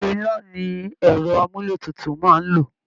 iná ni ẹ̀rọ àmúlé tutu máa ń lò